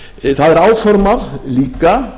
það er áformað líka